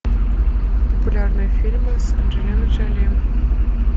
популярные фильмы с анджелиной джоли